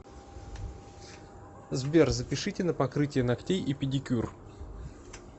сбер запишите на покрытие ногтей и педикюр